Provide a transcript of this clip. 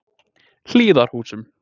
Hlíðarhúsum